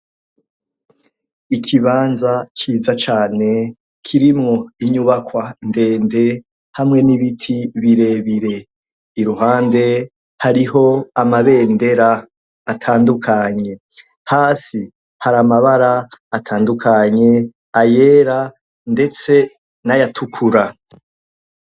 Ikibanza ciza cane kirimwo inyubakwa ndende hamwe n'ibiti birebire. Iruhande hariho amabendera atandukanye. Hasi hari amabara atandukanye, ayera ndetse n'ayatukura.